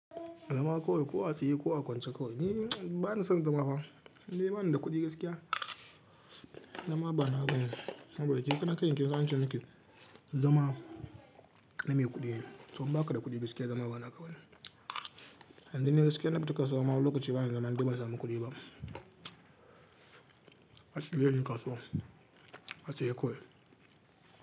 Zama kawai, ko a tsaye, ko a kwance kawai. Ni ba ni son zama fa, indai ba ni da kuɗi gaskiya. Zama ba na ba nawa bane. Saboda ke karan kanki kinsan ance miki zama na mai kuɗi ne, to in ba kada kuɗi gaskiya zama ba naka bane Dan ni gaskiya in na fita kasuwa, ma wani lokaci bana zama in dai ba'a samu kuɗi ba. Ashige ki kasuwa, a tsaye kawai.